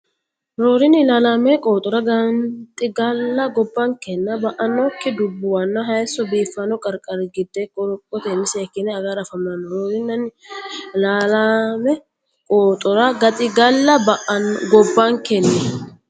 Roorinni ilaallaame qooxora gaxigalla gobbankenni ba annokki dubbuwanna hayisso biiffanno qarqarira gede qorophotenni seekkine agara afamanno Roorinni ilaallaame qooxora gaxigalla gobbankenni.